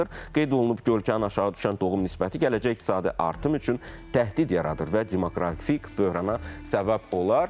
Qeyd olunub, kəskin aşağı düşən doğum nisbəti gələcək iqtisadi artım üçün təhdid yaradır və demoqrafik böhrana səbəb olar.